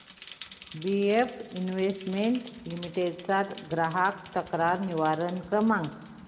BF investment limited चा ग्राहक तक्रार निवारण क्रमांक